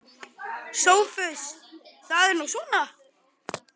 SOPHUS: Það er nú svona.